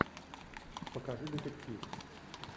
покажи детектив